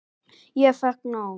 Ég fékk nóg.